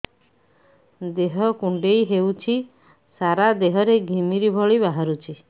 ଦେହ କୁଣ୍ଡେଇ ହେଉଛି ସାରା ଦେହ ରେ ଘିମିରି ଭଳି ବାହାରୁଛି